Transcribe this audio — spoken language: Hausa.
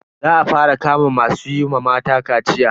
Za a fara kama masu yi wa mata kaciya.